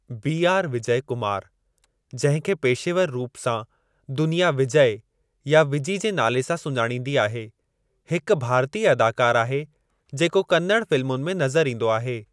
B R Vijay Kumar, जंहिं खे पेशेवर रूप सां दुनिया विजय या विजी जे नाले सां सुञाणींदी आहे , हिक भारतीय अदाकार आहे जेको कन्नड़ फ़िल्मुनि में नज़रु ईंदो आहे।